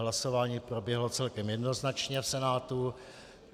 Hlasování proběhlo celkem jednoznačně v Senátu.